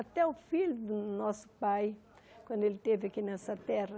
Até o filho do nosso pai, quando ele esteve aqui nessa terra,